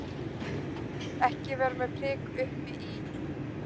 Ekki vera með prik uppi í.